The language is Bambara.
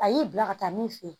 A y'i bila ka taa min fe yen